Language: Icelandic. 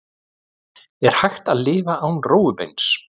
Er hægt að lifa án rófubeins?